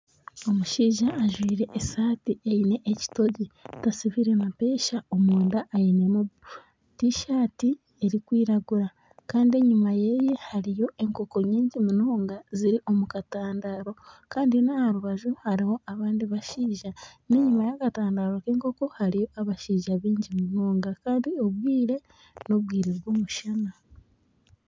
Omushaija ajwire esaati eine ekitogi, tasibire mapeesa omunda ainemu tishati erikwiragura kandi enyima hariyo enkoko nyingi munonga ziri omu katandaro kandi n'aha rubaju hariho n'abandi bashaija kandi n'enyima y'akatandaro k'enkoko hariyo abashaija baingi munonga kandi obwire n'obwire bw'omushana